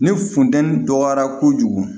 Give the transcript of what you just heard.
Ni funteni dɔgɔyara kojugu